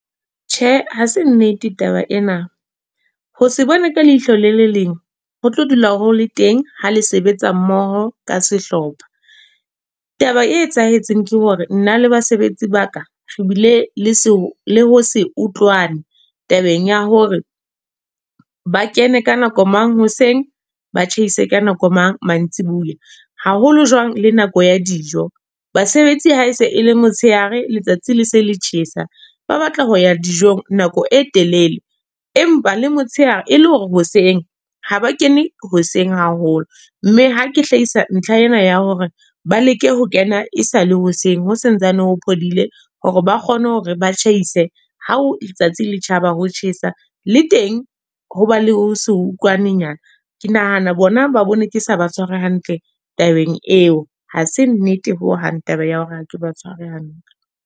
Tjhe, ha se nnete taba ena. Ho se bone ka leihlo le leleng ho tlo dula ho le teng ha le sebetsa mmoho ka sehlopha. Taba e etsahetseng ke hore, nna le basebetsi ba ka re bile le ho se utlwane. Tabeng ya hore ba kene ka nako mang hoseng, ba tjhehise ka nako mang mantsibuya. Haholo jwang le nako ya dijo. Basebetsi ha se e le motshehare letsatsi le se le tjhesa, ba batla ho ya dijong nako e telele. Empa le motshehare e le hore hoseng ha ba kene hoseng haholo. Mme ha ke hlakisa ntlha ena ya hore ba leke ho kena e sa le hoseng, ho sa ntsane ho phodile hore ba kgone hore ba tjhaise ha o letsatsi le tjhaba ho tjhesa. Le teng hoba le ho se utlwanenyana. Ke nahana bona ba bone ke sa ba tshware hantle tabeng eo. Ha se nnete ho hang taba ya hore ha ke ba tshware hantle.